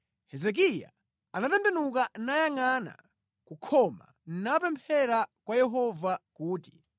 Hezekiya anatembenuka nayangʼana kukhoma, napemphera kwa Yehova kuti,